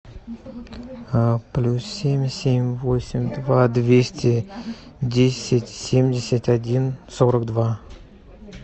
плюс семь семь восемь два двести десять семьдесят один сорок два